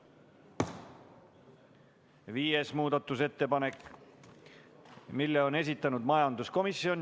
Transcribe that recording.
Viienda muudatusettepaneku on esitanud majanduskomisjon.